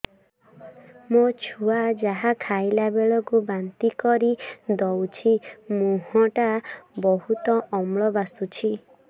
ମୋ ଛୁଆ ଯାହା ଖାଇଲା ବେଳକୁ ବାନ୍ତି କରିଦଉଛି ମୁହଁ ଟା ବହୁତ ଅମ୍ଳ ବାସୁଛି